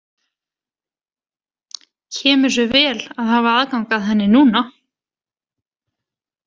Kemur sér vel að hafa aðgang að henni núna!